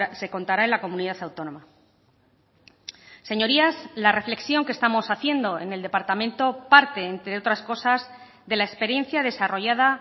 se contará en la comunidad autónoma señorías la reflexión que estamos haciendo en el departamento parte entre otras cosas dela experiencia desarrollada